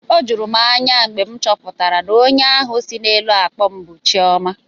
O juru m anya mgbe m chọpụtara na onye ahụ si n'elu akpọ m bụ Chioma